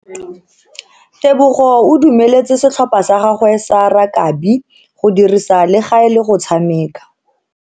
Tebogo o dumeletse setlhopha sa gagwe sa rakabi go dirisa le gale go tshameka.